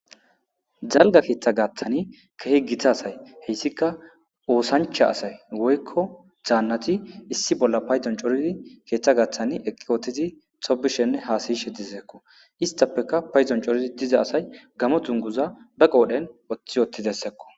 Dalga keeththa gaaththani kehi githa asay heyssika oosancha asay woykko zaannati issi bolla payzon coridi keeththa gaaththani eqqi ootizi xobishenne haasayishe diseekko istapeka payzon corii diza asay gamo dunguza ba qoodhen oththi ottidessekko.